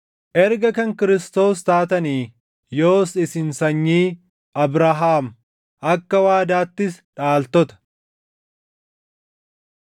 Erga kan Kiristoos taatanii yoos isin sanyii Abrahaam; akka waadaattis dhaaltota.